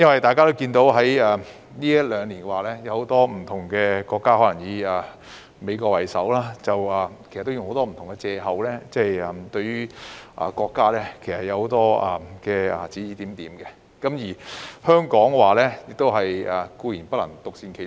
大家也看到，近兩年很多國家以美國為首，用種種不同的藉口對國家指指點點，而香港亦固然不能獨善其身。